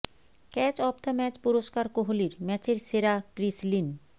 catch of the match পুরস্কার কোহলির ম্যাচের সেরা ক্রিস লিন